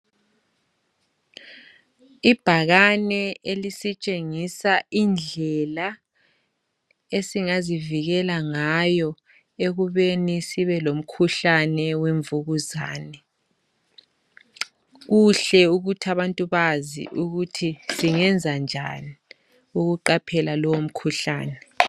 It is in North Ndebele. Ibhakane elisitshengisa indlela esingazivikela ngayo ekubeni sibe lomkhuhlane wemvukuzane. Kuhle ukuthi abantu bazi ukuthi singenza njani ukuqaphela lowo mkhuhlane.